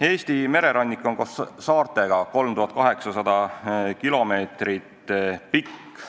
Eesti mererannik on koos saartega 3800 kilomeetrit pikk.